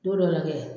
Don dɔ la kɛ